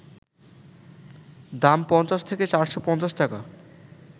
দাম ৫০ থেকে ৪৫০ টাকা